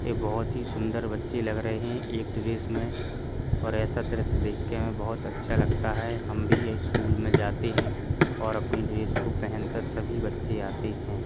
ये बहोत ही सुंदर बच्चे लग रहे हैं एक ड्रेस में और ऐसा दृश्य देखके हमें बहोत अच्छा लगता है। हम भी ये स्कूल में जाते हैं और अपनी ड्रेस पहनकर सभी बच्चे आते हैं।